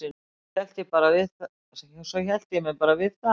Svo hélt ég mér bara við það.